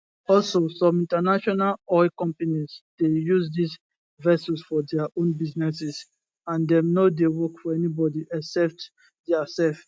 also some international oil companies dey use dis vessels for dia own businesses and dem no dey work for anybody except diasef